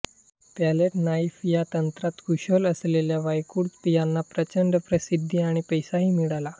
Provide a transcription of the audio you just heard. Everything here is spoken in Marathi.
पॅलेट नाईफ या तंत्रात कुशल असलेल्या वायकूळ यांना प्रचंड प्रसिद्धी आणि पैसाही मिळाला